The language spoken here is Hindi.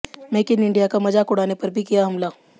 मेक इन इंडिया का मजाक उड़ाने पर भी किया हमला